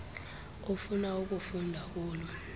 ofuna ukufunda kulo